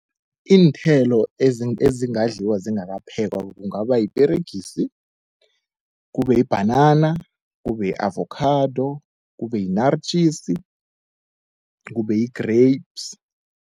Iinthelo ezingadliwa zingakaphekwa kungaba yiperegisi, kube yibhanana, kube yi-avokhado, kube yinaritjisi, kube yi-grapes.